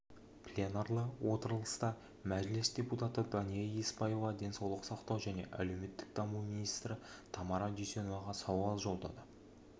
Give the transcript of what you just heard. пленарлы отырыста мәжіліс депутаты дания еспаева денсаулық сақтау және әлеуметтік даму министрі тамара дүйсеноваға сауал жолдады